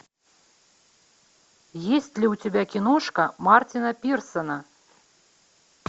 есть ли у тебя киношка мартина пирсона